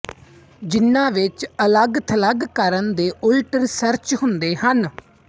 ਜਿਨਾਂ ਵਿੱਚ ਅਲੱਗਥਲੱਗ ਕਰਨ ਦੇ ਉਲਟ ਰਿਸਰਚ ਹੁੰਦੇ ਹਨ